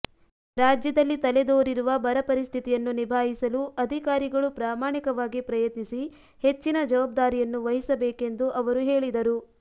ರಾಜ್ಯದಲ್ಲಿ ತಲೆದೋರಿರುವ ಬರಪರಿಸ್ಥಿತಿಯನ್ನು ನಿಭಾಯಿಸಲು ಅಧಿಕಾರಿಗಳು ಪ್ರಾಮಾಣಿಕವಾಗಿ ಪ್ರಯತ್ನಿಸಿ ಹೆಚ್ಚಿನ ಜವಾಬ್ದಾರಿಯನ್ನು ವಹಿಸಬೇಕೆಂದು ಅವರು ಹೇಳಿದರು